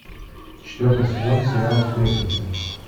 четвертый сезон сериал сплетница